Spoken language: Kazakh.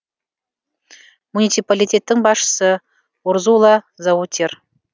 муниципалитеттің басшысы урзула заутер